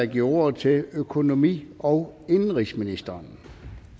giver ordet til økonomi og indenrigsministeren